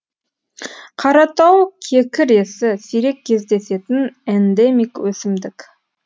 қаратау кекіресі сирек кездесетін эндемик өсімдік